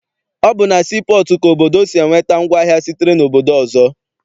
Ọ bụ na sii pọọtụ ka obodo si enweta ngwaahịa sitere obodo ọzọ.